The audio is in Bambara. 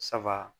Sabaa